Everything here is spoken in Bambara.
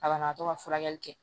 A banabagatɔ ka furakɛli kɛ